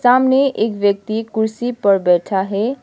सामने एक व्यक्ति कुर्सी पर बैठा है।